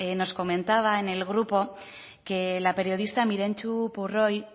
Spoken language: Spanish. nos comentaba en el grupo que la periodista mirentxu purroy